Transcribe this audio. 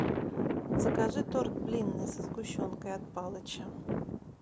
закажи торт блинный со сгущенкой от палыча